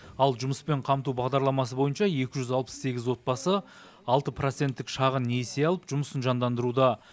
ал жұмыспен қамту бағдарламасы бойынша екі жүз алпыс сегіз отбасы алты проценттік шағын несие алып жұмысын жандандыруда